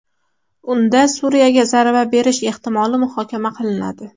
Unda Suriyaga zarba berish ehtimoli muhokama qilinadi.